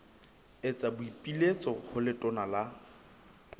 etsa boipiletso ho letona la